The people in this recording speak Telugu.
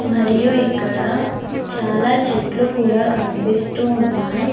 మరియు ఇక్కడ చాలా చెట్లు కూడా కనిపిస్తూ ఉన్నాయి.